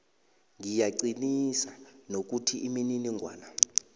ngiyaqinisa nokuthi imininingwana